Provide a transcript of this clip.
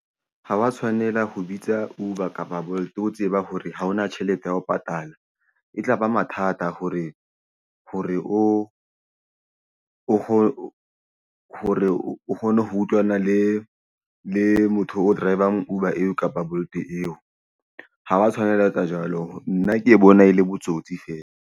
Ha wa tshwanela ho bitsa Uber kapa Bolt o tseba hore ha hona tjhelete ya ho patala. E ba mathata hore o kgone ho utlwana le le motho o drivang Uber kapa Bolt eo ha wa tshwanela etsa jwalo. Nna ke bona e le botsotsi fela.